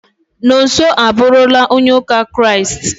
Nonso abụrụla onye ụka kiriasti